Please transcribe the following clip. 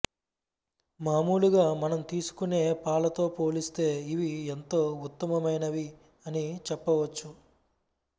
మామూలుగా మనం తీసుకునే పాలతో పోలిస్తే ఇవి ఎంతో ఉత్తమమైనవి అని చెప్పవచ్చు